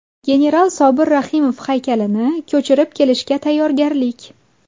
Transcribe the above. General Sobir Rahimov haykalini ko‘chirib keltirishga tayyorgarlik.